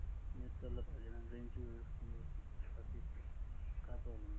का प्रॉब्लेम आहे नाही यांचा